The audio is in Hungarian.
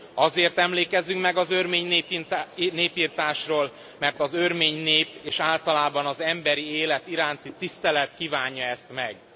Azért emlékezzünk meg az örmény népirtásról, mert az örmény nép, és általában az emberi élet iránti tisztelet kívánja ezt meg.